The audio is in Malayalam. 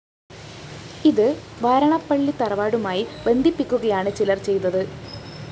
ഇത് വാരണപ്പള്ളി തറവാടുമായി ബന്ധിപ്പിക്കുകയാണ് ചിലര്‍ ചെയ്തത്